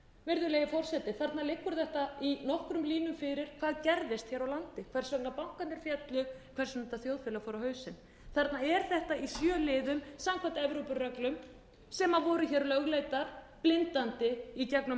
virðulegi forseti þarna liggur þetta í nokkrum línum fyrir hvað gerðist hér á landi hvers vegna bankarnir féllu hvers vegna þetta þjóðfélag fór á hausinn þarna er þetta í sjö liðum samkvæmt evrópureglum sem voru lögleiddar blindandi í gegnum